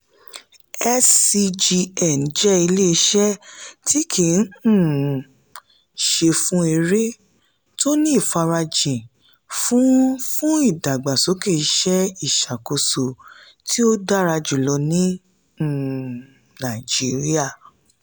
scgn jẹ́ ilé-iṣẹ́ tí kìí um ṣe-fún-èrè tó ní ìfarajìn fún fún ìdàgbàsókè ìṣe ìṣàkóso tí ó dára jùlọ ní um nàìjíríà.